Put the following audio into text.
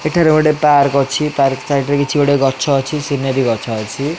ଏଠାରେ ଗୋଟେ ପାର୍କ ଅଛି ପାର୍କ ସାଇଟ୍ ରେ କିଛି ଗୋଟେ ଗଛ ଅଛି ସିନେରି ଗଛ ଅଛି।